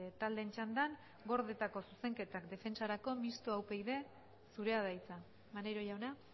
taldeen txandan gordetako zuzenketak defentsarako mistoa upyd zurea da hitza maneiro jauna